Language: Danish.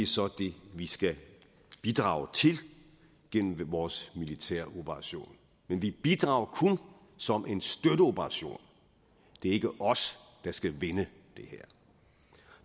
så det vi skal bidrage til gennem vores militæroperation men vi bidrager kun som en støtteoperation det er ikke os der skal vende det her